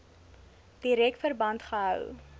direk verband gehou